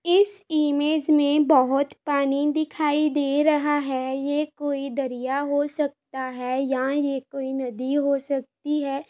इस इमेज में बहुत पानी दिखाई दे रहा है। ये कोई दरिया हो सकता है या ये कोई नदी हो सकती है।